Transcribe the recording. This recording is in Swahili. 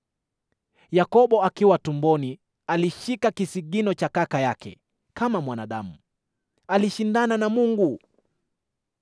Yakobo akiwa tumboni alishika kisigino cha kaka yake; kama mwanadamu, alishindana na Mungu.